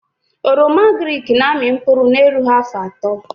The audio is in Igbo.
Oroma agrịk na amị mkpụrụ na erughị afọ atọ